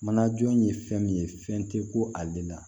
Manajɔ ye fɛn min ye fɛn tɛ ko ale la